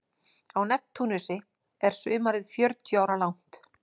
Á Neptúnusi er sumarið fjörutíu ára langt.